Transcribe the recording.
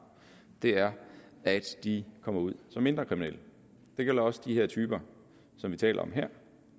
er at de kommer ud som mindre kriminelle det gælder også de her typer som vi taler om her